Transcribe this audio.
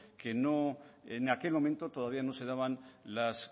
que no en aquel momento todavía no se daban las